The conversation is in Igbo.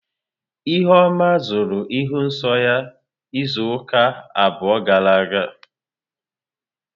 Ihuoma hụrụ ịhụ nsọ ya izuụka abụọ gara aga.